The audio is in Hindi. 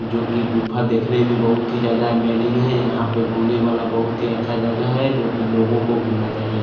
जोकि गुफा देखने में बहोत ही ज्यादा इमेजिंग है यहाँ पर होने वाला बहुत ही ज्यादा अच्छा जगह है जोकि लोगो को गुमना चाइये।